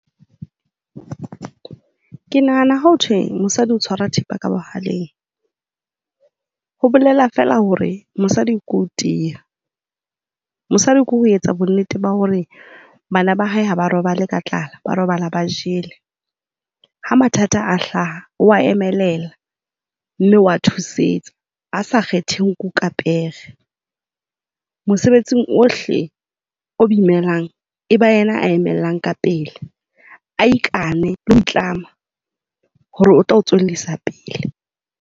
Ke nahana ha ho thwe mosadi o tshwara thipa ka bohaleng, ho bolela feela hore mosadi ke ho tiya. Mosadi ke ho etsa bonnete ba hore bana ba hae ha ba robale ka tlala, ba robala ba jele. Ha mathata a hlaha, o a emelela. Mme o a thusetsa, a sa kgethe nku ka pere. Mosebetsing ohle o imelang, e ba yena ya emellang ka pele. A ikane le ho itlama, hore o tlo o tswellisa pele.